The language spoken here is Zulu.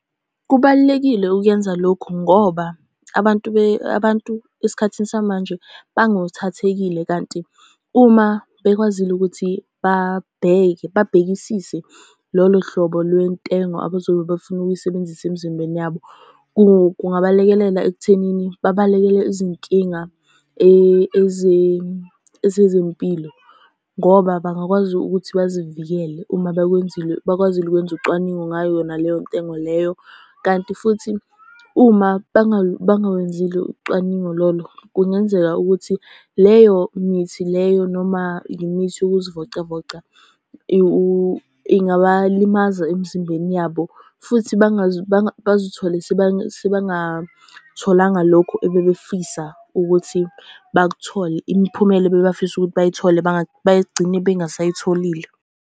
Kubalulekile ukuyenza lokhu ngoba, abantu abantu esikhathini samanje bangothathekile, kanti uma bekwazile ukuthi babheke babhekisise lolo hlobo lwentengo abazobe befuna ukuyisebenzisa emzimbeni yabo, kungalekelela ekuthenini babalekele izinkinga ezezempilo, ngoba bangakwazi ukuthi bazivikele. Uma bakwenzile bakwazile ukwenza ucwaningo ngayo yona leyo ntengo leyo. Kanti futhi uma bangawenzile ucwaningo lolo, kungenzeka ukuthi leyo mithi leyo noma imithi yokuzivocavoca, ingabalimaza emzimbeni yabo, futhi bazithole sebangatholanga lokho ebebefisa ukuthi bakuthole. Imiphumela ebebafisa ukuthi bayithole bagcine bengasayitholile.